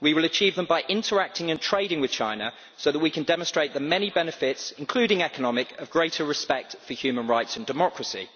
We will achieve them by interacting and trading with China so that we can demonstrate the many benefits, including economic, of greater respect for human rights and democracy.